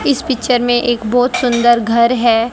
इस पिक्चर में एक बहोत सुंदर घर है।